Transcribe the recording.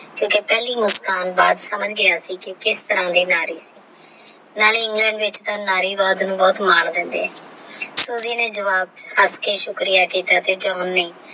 ਤੇ ਇਹ ਪਹਿਲੀ ਮੁਸਕਾਨ ਬਾਅਦ ਸਮਝ ਗਿਆ ਸੀ ਕੀ ਕਿਸ ਤਰ੍ਹਾਂ ਦੀ ਨਾਰੀ ਨਾਲੇ England ਵਿੱਚ ਤਾ ਨਾਰੀਵਾਦ ਨੂੰ ਬਹੁਤ ਮਰ ਹੈ Soji ਨੇ ਜਵਾਬ ਹੱਸ ਕੇ ਸ਼ੁਕਰੀਆ ਕਿੱਤਾ ਤੇ John ਨੇ।